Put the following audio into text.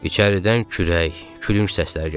İçəridən kürək, külünc səsləri gəlirdi.